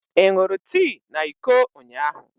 Ị ṅụrụ tii na iko ụnyahụ?